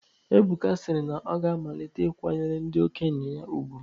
Ebuka si na ọ ga-amalite ikwanyere ndị okenye ya ùgwù.